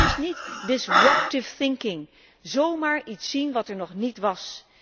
Dat is niet disruptive thinking zomaar iets zien wat er nog niet was.